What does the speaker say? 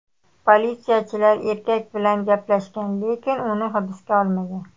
Politsiyachilar erkak bilan gaplashgan, lekin uni hibsga olmagan.